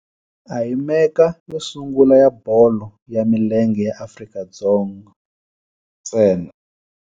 A hi Mecca yo sungula ya bolo ya milenge ya Afrika-Dzonga ntsena.